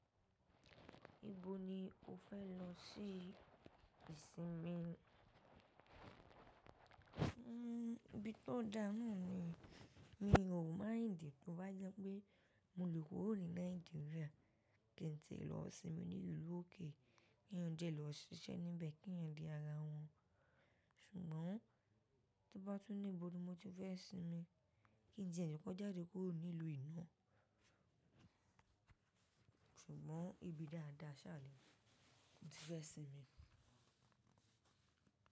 Ibo ni o fẹ lọ sí ìsinmi? Hmm ibi tó dáná ni, mi ò mind tí ó bá jẹ́ pé mo lè kúrò ní Nàìjíríà kí n ti ẹ lọ sinmi ní ìlú òkè, kí èèyàn dẹ lọ́ ṣiṣẹ́ níbẹ̀, kí èèyàn dí ara wọn. Ṣùgbọ́n tí bá tún ní ìbò mi tí mo ti fẹ́ sinmi, kí n tiẹ jẹ kò jáde kúrò ní ìlú yìí na. Ṣùgbọ́n ibi dáadáa sànì, mo ti fẹ́ sinmi.